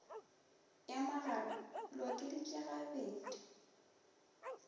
ya magare le okeditšwe gabedi